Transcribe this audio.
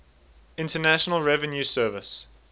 internal revenue service